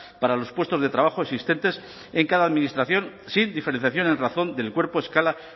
para los puestos de trabajo existentes en cada administración sin diferenciación en razón del cuerpo escala